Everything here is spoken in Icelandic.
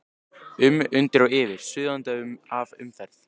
um, undir og yfir, suðandi af umferð.